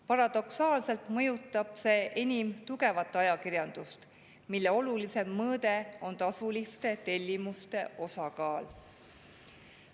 Paradoksaalselt mõjutab see enim tugevat ajakirjandust, mille olulisim mõõde on tasuliste tellimuste osakaal.